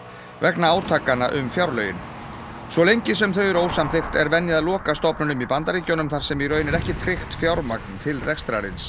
vegna átakanna um fjárlögin svo lengi sem þau eru ósamþykkt er venja að loka stofnunum í Bandaríkjunum þar sem í raun er ekki tryggt fjármagn til rekstrarins